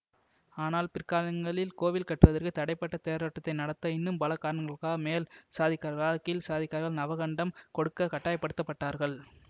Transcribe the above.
ஆனால் பிற்காலங்களில் கோவில் கட்டுவதற்க்கு தடைபட்ட தேரோட்டத்தை நடத்த இன்னும் பல காரணங்களுக்காக மேல் சாதிக்காரர்களால் கீழ் சாதிக் காரர்கள் நவகண்டம் கொடுக்க கட்டாயப்படுத்தப் பட்டார்கள்